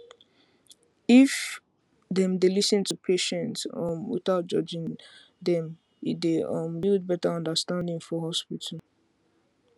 if dem dey lis ten to patients um without judging them e dey um build better understanding for hospital